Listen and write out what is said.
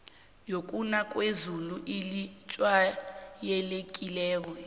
yokuna kwezulu elijwayelekileko